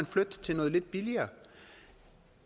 flytte til noget lidt billigere